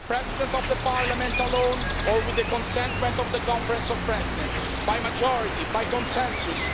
The President of Parliament alone or with the consent of the Conference of Presidents? By majority, by consensus?